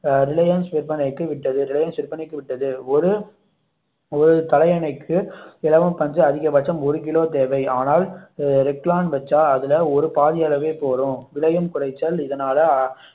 அஹ் ரிலையன்ஸ் விற்பனைக்கு விட்டது ரிலையன்ஸ் விற்பனைக்கு விட்டது ஒரு தலையணைக்கு இலவம்பஞ்சு அதிகபட்சம் ஒரு கிலோ தேவை ஆனால் ரெக்லான் வெச்சா அதுல ஒரு பாதி அளவே போதும் விளையும் குறைச்சல் இதனால்